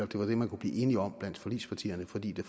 det var det man kunne blive enige om blandt forligspartierne fordi det